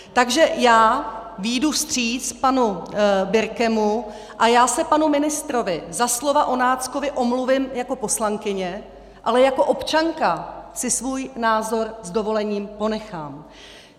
Takže já vyjdu vstříc panu Birkemu a já se panu ministrovi za slova o náckovi omluvím jako poslankyně, ale jako občanka si svůj názor s dovolením ponechám.